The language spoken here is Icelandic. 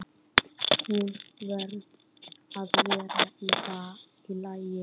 Hún varð að vera í lagi.